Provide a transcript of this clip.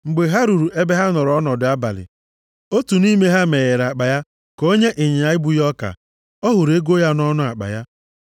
Mgbe ha ruru ebe ha nọrọ ọnọdụ abalị, otu nʼime ha meghere akpa ya ka o nye ịnyịnya ibu ya ọka, ọ hụrụ ego ya nʼọnụ akpa ya.